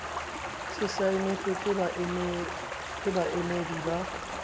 se saenetswe ke baamehi ba